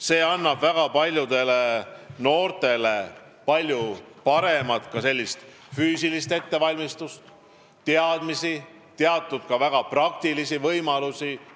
See annab väga paljudele noortele väga hea füüsilise ettevalmistuse, annab teadmisi ja ka väga praktilisi oskusi.